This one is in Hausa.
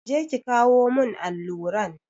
Je ki kawo mun alluran!